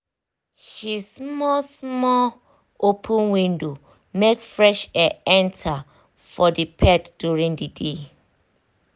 she small small open window make fresh air enter for the pet during the day